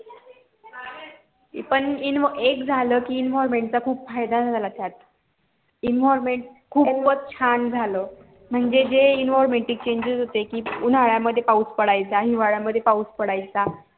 पण एक झालं कि environment चा खूप फायदा झाला त्यात environment खूप च छान झालं म्हणजे जे environmetic changes उन्हाळा मध्ये पाऊस पडायचा हिवळ्या मध्ये पाऊस पडायचा